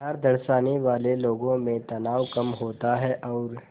प्यार दर्शाने वाले लोगों में तनाव कम होता है और